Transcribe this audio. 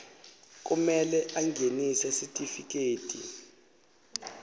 kumele angenise sitifiketi